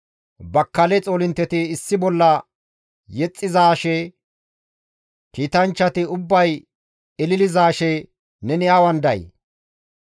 Bakkale xoolintteti issi bolla yexxizaashe, kiitanchchati ubbay ililizaashe neni awan day?